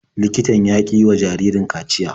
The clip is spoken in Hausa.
Likitan ya ƙi yiwa jaririn kaciya.